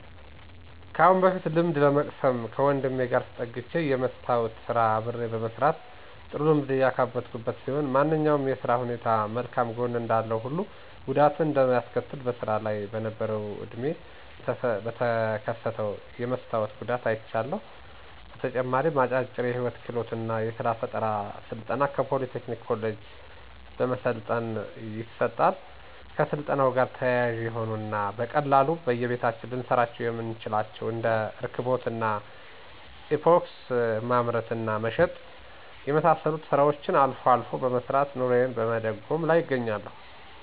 ከአሁን በፊት ልምድ ለመቅሰም ከወንድሜ ጋር ተጠግቸ የመስታዎት ስራ አብሬ በመስራት ጥሩ ልምድ ያካበትኩበት ሲሆን ማንኛውም የስራ ሁኔታም መልካም ጎን እንዳለው ሁሉ ጉዳትም እንደሚያስከትልም በስራ ላይ በነበረው ወድሜ ላይ በተከሰተው የመስታወት ጉዳት አይቻለሁ። በተጨማሪም አጫጭር የህይወት ክህሎት እና የስራ ፈጠራ ስልጠና ከፖሊ ቴክኒክ ኮሌጅ በመሰልጠን ይሰጣል። ከስልጠናው ጋር ተያያዥ የሆኑ እና በቀላሉ በየቤታችን ልንሰራቸው የምንችላቸውን እንደ እርክቦት እና ኢፓክሲ ማምረት እና መሸጥ የመሳሰሉትን ስራዎችን አልፎ አልፎ በመስራት ኑሮየን በመደጎም ላይ እገኛለሁ።